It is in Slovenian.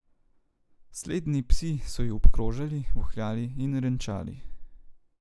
Sledni psi so ju obkrožali, vohljali in renčali.